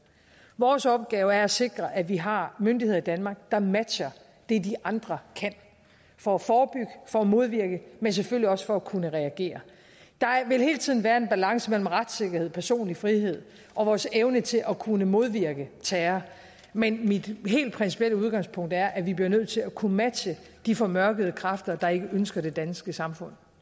vores opgave er at sikre at vi har myndigheder i danmark der matcher det de andre kan for at forebygge for at modvirke men selvfølgelig også for at kunne reagere der vil hele tiden være en balance mellem retssikkerhed personlig frihed og vores evne til at kunne modvirke terror men mit helt principielle udgangspunkt er at vi bliver nødt til at kunne matche de formørkede kræfter der ikke ønsker det danske samfund